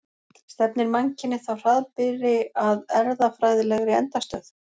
Stefnir mannkynið þá hraðbyri að erfðafræðilegri endastöð?